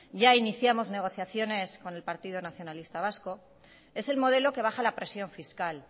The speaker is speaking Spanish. ya iniciamos negociaciones con el partido nacionalista vasco es el modelo que baja la presión fiscal